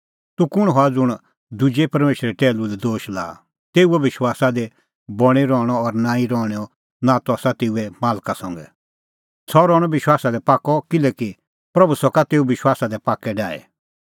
तूह कुंण हआ ज़ुंण दुजै परमेशरे टैहलू लै दोश लाआ तेऊओ विश्वासा दी बणीं रहणअ और नांईं रहणैंओ नातअ आसा तेऊए मालका संघै सह रहणअ विश्वासा दी पाक्कअ किल्हैकि प्रभू सका तेऊ विश्वासा दी पाक्कै डाही